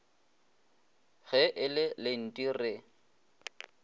ge e le lenti re